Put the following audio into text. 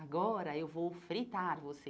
Agora, eu vou fritar você.